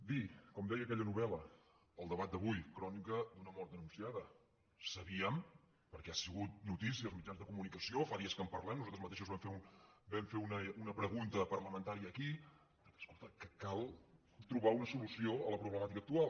dir com deia aquella novel·la en el debat d’avui crònica d’una mort anunciada ho sabíem perquè ha sigut notícia als mitjans de comunicació fa dies que en parlem nosaltres mateixos vam fer un pregunta parlamentària aquí escolta que cal trobar una solució a la problemàtica actual